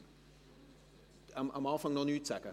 – Sie möchten zu Beginn noch nichts sagen?